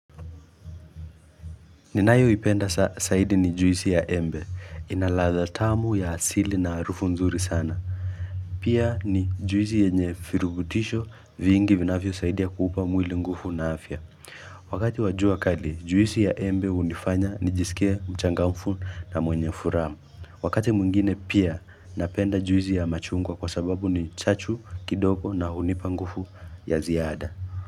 Ninayoipenda saidi ni juisi ya embe. Ina ladha tamu ya asili na harufu nzuri sana. Pia ni juisi yenye firugutisho vingi vinafyosaidia kuupa mwili ngufu na afya. Wakati wa jua kali juisi ya embe hunifanya nijisikie mchangamfu na mwenye furaha Wakati mwingine pia napenda juisi ya machungwa kwa sababu ni chachu, kidoko na hunipa ngufu ya ziada.